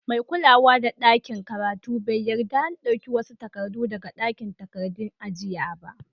Mai kulawa da dakin karatun bai yadda n dauka wasu takadu daga dakin takadun jiya ba.